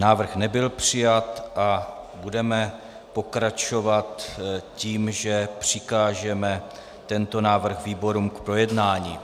Návrh nebyl přijat a budeme pokračovat tím, že přikážeme tento návrh výborům k projednání.